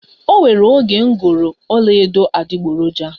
O nwere oge m goro ọla edo adiboroja